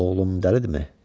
Oğlum dəlidirmi?